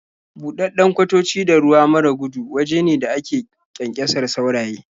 Buɗaɗɗun kwatoci da ruwa mara gudu waje ne da ake ƙyanƙyasar sauraye.